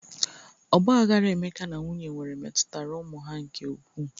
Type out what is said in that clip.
Ọgba aghara Emeka na nwunye nwere metutara ụmụ ha nke ukwu.